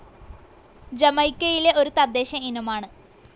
ജമൈക്കയിലെ ഒരു തദ്ദേശ ഇനമാണ്.